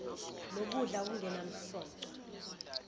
lokudla okungenam soco